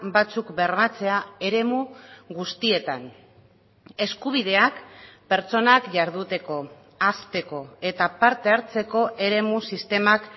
batzuk bermatzea eremu guztietan eskubideak pertsonak jarduteko hazteko eta parte hartzeko eremu sistemak